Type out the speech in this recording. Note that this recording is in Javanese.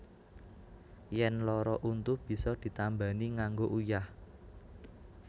Yèn lara untu bisa ditambani nganggo uyah